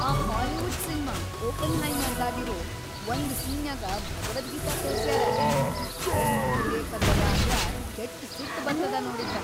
ಆ Hollywood cinema "ಒಪೆನ್ಹೈಮರ್"ದಾಗಿರೋ ಒಂದ್ ಸೀನ್ನ್ಯಾಗ ಭಗವದ್ಗೀತಾ ತೋರ್ಸ್ಯಾರ.. ಅದೆಷ್ಟ್ ಅತಿರೇಕದ್ದದ ಅಂದ್ರ ಕೆಟ್ಟ ಸಿಟ್‌ ಬರ್ತದ ನೋಡಿದ್ರ.